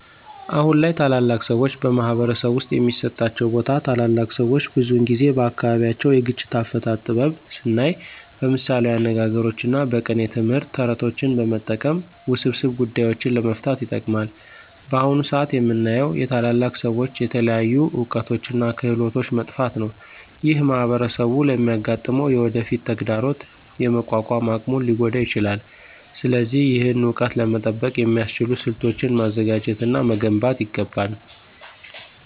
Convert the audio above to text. አሁን ላይ ታላላቅ ሰዎች በማኅበረሰብ ውስጥ የሚሰጣቸው ቦታ ታላላቅ ሰዎች ብዙውን ጊዜ በአካባቢያቸው የግጭት አፈታት ጥበብ ስናይ በምሳሌያዊ አነጋግሮች እና በቅኔ ትምህርት፣ ተረቶችን በመጠቀም ውስብስብ ጉዳዮችን ለመፍታት ይጠቀማሉ። በአሁን ሰአት የምናየው የታላላቅ ሰዎች የተለያዩ እውቀቶች እና ክህሎቶች መጥፋት ነው። ይህ ማኅበረሰቡ ለሚያጋጥመው የወደፊት ተግዳሮት የመቋቋም አቅሙን ሊጎዳ ይችላል። ስለዚህ ይህን እውቀት ለመጠበቅ የሚያስችሉ ስልቶችን ማዘጋጀት እና መገንባት ይገባል።